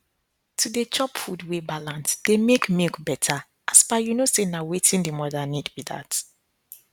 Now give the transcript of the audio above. to dey chop food wey balance dey make milk better as per you know say na wetin the mother need be that